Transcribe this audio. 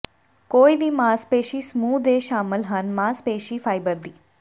ਕੋਈ ਵੀ ਮਾਸਪੇਸ਼ੀ ਸਮੂਹ ਦੇ ਸ਼ਾਮਲ ਹਨ ਮਾਸਪੇਸ਼ੀ ਫ਼ਾਇਬਰ ਦੀ